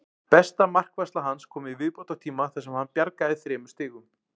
Besta markvarsla hans kom í viðbótartíma þar sem hann bjargaði þremur stigum.